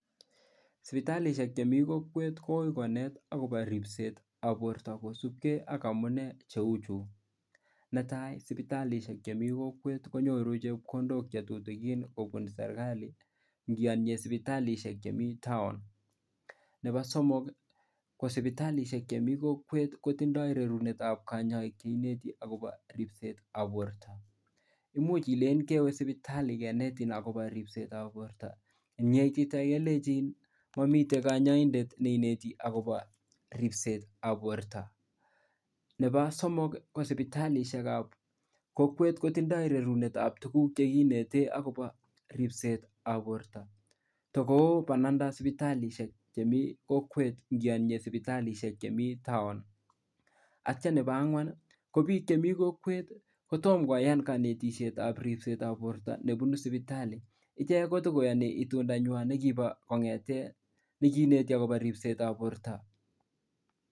Sibitalishek chemi kokwet akumuch konet akobo ribset akosubgei ak amunee chechu netai sibitalishek chemii kokwet konyoru chepkondok chetuten kobun serikalit ngeanye sibitalishek Chemiten town Nebo somok ko sibitalishek chemi kokwet kotindo rerunet ab kanyaiset akobo ribset ab borta imuch Ile kewe sibitali akonetin akobo ribset ab borta ako yeitite kelenjini kanyaindet neineti akobo ribset ab borta Nebo somok ko sibitalishek ab kokwet kotindo rounet ab tuguk chekinete akobo ribset ab borta Nebo bananda ab sibitalishek ab kokwet en sibitalishek Chemiten town akitya Nebo angwan KO bik Chemiten kokwet kotomo koyan kanetishet ab ribset ab borta nebunu sibitali ak ichek kotakoyani itundo nywan nekibo kabaten akobo ribset ab borta.